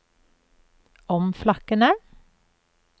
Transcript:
omflakkende